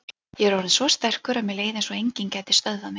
Ég var orðinn svo sterkur og mér leið eins og að enginn gæti stöðvað mig.